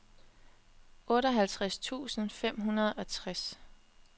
otteoghalvtreds tusind fem hundrede og tres